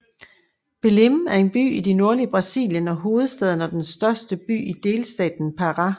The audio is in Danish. Belém er en by i det nordlige Brasilien og hovedstaden og den største by i delstaten Pará